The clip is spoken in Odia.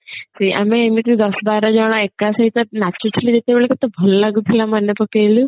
ଆମେ ଏମତି ଦଶ ବାର ଜଣ ଏକା ସହିତ ନାଚୁଥିଲେ ଯେତେବଳେ କେତେ ଭଲ ଲାଗୁଥିଲା ମନେ ପକେଇଲୁ